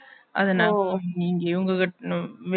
அதனால நீங்க